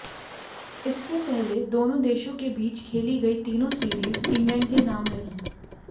इससे पहले दोनों देशों के बीच खेली गई तीनों सीरीज इंग्लैंड के नाम रही